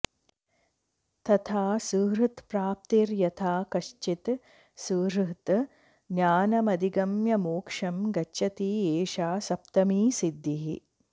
तथा सुहृत्प्राप्तिर्यथा कश्चित् सुहृत् ज्ञानमधिगम्य मोक्षं गच्छति एषा सप्तमी सिद्धिः